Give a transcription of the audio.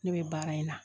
Ne bɛ baara in na